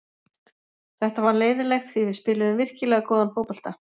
Þetta var leiðinlegt því við spiluðum virkilega góðan fótbolta.